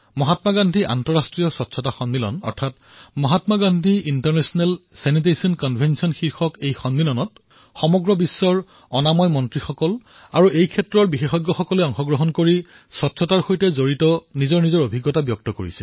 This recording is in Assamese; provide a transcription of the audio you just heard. মহাত্মা গান্ধী আন্তঃৰাষ্ট্ৰীয় স্বচ্ছতা সন্মিলন অৰ্থাৎ Mahatma Gandhi international sanitation convention বিশ্বৰ বিভিন্ন প্ৰান্তৰ অনাময় মন্ত্ৰী আৰু এই ক্ষেত্ৰৰ বিশেষজ্ঞসকলে একগোট হৈ স্বচ্ছতাৰ সৈতে জড়িত নিজৰ প্ৰয়োগ আৰু অনুভৱৰ বিষয়ে সদৰী কৰিব